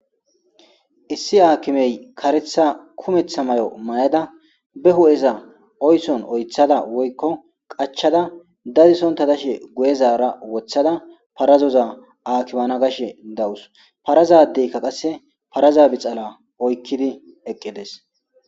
Issi akimey karetha mayuwa mayada ba huppheza oyson oythada woykon qachada dadisonta dashe guye Zara wothada parazoza akimana gashe dawus parazadeyka qaseka parazoza bixala oykidi eqides